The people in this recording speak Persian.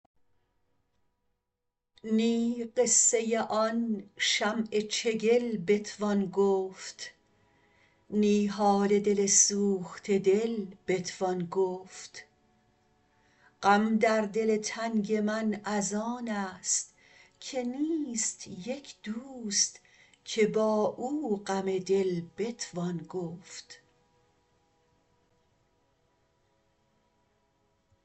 نی قصه آن شمع چگل بتوان گفت نی حال دل سوخته دل بتوان گفت غم در دل تنگ من از آن است که نیست یک دوست که با او غم دل بتوان گفت